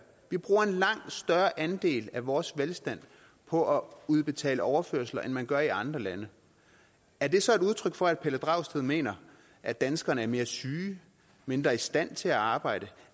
vi bruger en langt større andel af vores velstand på at udbetale overførsler end man gør i andre lande er det så et udtryk for at herre pelle dragsted mener at danskerne er mere syge og mindre i stand til at arbejde